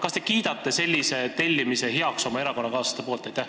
Kas te kiidate heaks selliste saadete tellimise oma erakonnakaaslaste poolt?